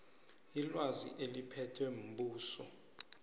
ilwazi eliphethwe mbuso